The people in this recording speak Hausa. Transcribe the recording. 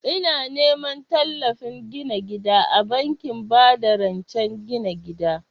Ina neman tallafin gina gida a bankin ba da rancen gina gida